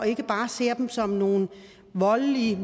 ikke bare ser dem som nogle voldelige